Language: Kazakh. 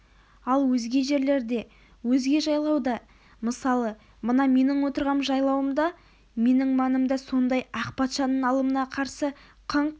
ал өзге жерлерде өзге жайлауда мысалы мына менің отырған жайлауымда менің маңымда сондай ақ патшаның алымына қарсы қыңқ